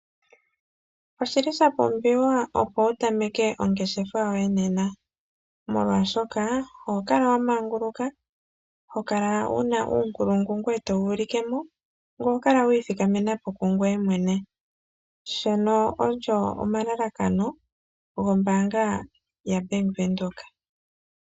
Oshi li shapumbiwa opo wutameke ongeshefa yoye nena molwaashoka oho kala wa manguluka, hokala wu na uunkulungu ngoye to wu ulike mo ngoye oho kala wi ithikamena po kungoye mwene, ngono ogo omalalakano gombaanga yaBank Windhoek.